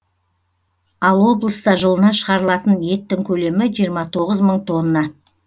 ал облыста жылына шығарылатын еттің көлемі жиырма тоғыз мың тонна